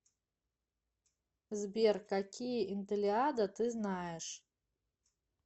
сбер какие интеллиада ты знаешь